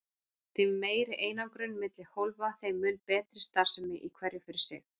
Því meiri einangrun milli hólfa þeim mun betri starfsemi í hverju fyrir sig.